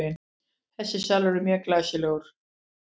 Þessi salur er mjög glæsilegur.